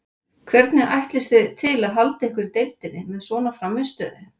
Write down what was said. Hvernig ætlist þið til að halda ykkur í deildinni með svona frammistöðu?